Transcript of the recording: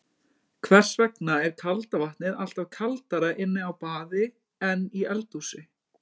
Hvers vegna er kalda vatnið alltaf kaldara inni á baði en í eldhúsi?